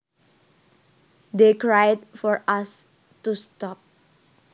They cried for us to stop